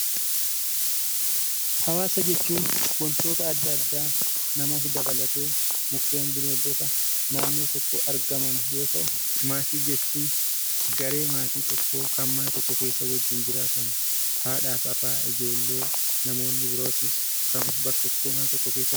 Hawaasa jechuun wantoota adda addaa namas dabalatee, mukkeen, bineeldota naannoo tokko argaman yoo ta'u, maatii jechuun garee maatii tokkoo kan mana tokko keessa waliin jiraatan. Haadha fi abbaa, ijoollee namoonni birootis kan mana tokko keessa waliin jiraatan